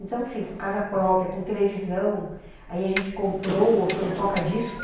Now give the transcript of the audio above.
Então, assim, com casa própria, com televisão, aí a gente comprou aqui um toca-disco.